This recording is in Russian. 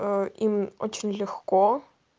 ээ им очень легко